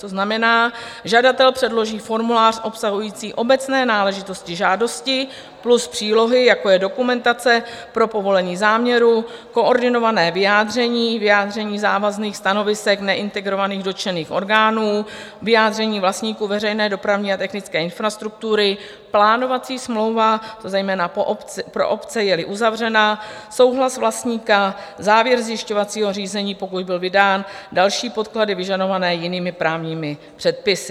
To znamená, žadatel předloží formulář obsahující obecné náležitosti žádosti plus přílohy, jako je dokumentace pro povolení záměru, koordinované vyjádření, vyjádření závazných stanovisek neintegrovaných dotčených orgánů, vyjádření vlastníků veřejné dopravní a technické infrastruktury, plánovací smlouva, zejména pro obce, je-li uzavřena, souhlas vlastníka, závěr zjišťovacího řízení, pokud byl vydán, další podklady vyžadované jinými právními předpisy.